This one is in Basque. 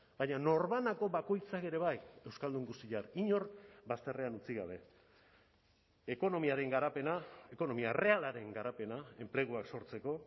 baina norbanako bakoitzak ere bai euskaldun guztiak inor bazterrean utzi gabe ekonomiaren garapena ekonomia errealaren garapena enpleguak sortzeko